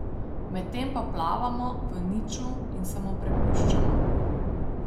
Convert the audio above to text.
Medtem pa plavamo v niču in se mu prepuščamo.